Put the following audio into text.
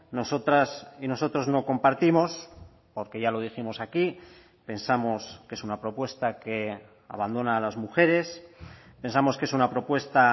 nosotras y nosotros no compartimos porque ya lo dijimos aquí pensamos que es una propuesta que abandona a las mujeres pensamos que es una propuesta